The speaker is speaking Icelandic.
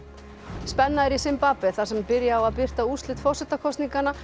spenna er í Simbabve þar sem byrja á að birta úrslit forsetakosninganna